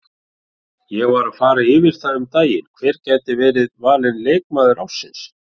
Ég var að fara yfir það um daginn hver gæti verið valinn leikmaður ársins.